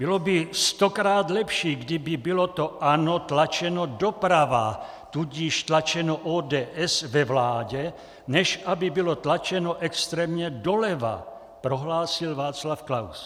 "Bylo by stokrát lepší, kdyby bylo to ANO tlačeno doprava, tudíž tlačeno ODS ve vládě, než aby bylo tlačeno extrémně doleva," prohlásil Václav Klaus.